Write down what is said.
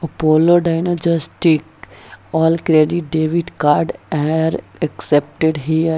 Apollo diagnostics all debit credit card here accepted here --